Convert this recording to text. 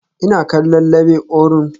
Ina kallon Labe Orun